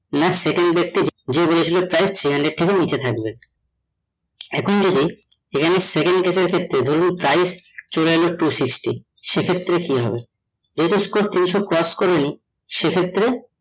next second ব্যাক্তি যে বলেছিল price three hundred থেকে নিচে থাকবে । এখন যদি এখানে second ক্ষেত্রে ধরুন price চলে এলো two sixty সে ক্ষেত্রে কি হবে তিনশো cross করেনি